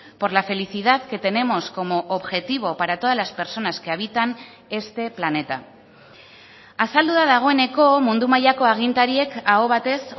por la felicidad que tenemos como objetivo para todas las personas que habitan este planeta azaldu da dagoeneko mundu mailako agintariek aho batez